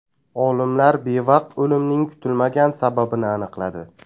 Olimlar bevaqt o‘limning kutilmagan sababini aniqladi.